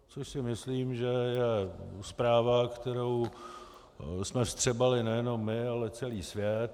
Což si myslím, že je zpráva, kterou jsme vstřebali nejenom my, ale celý svět.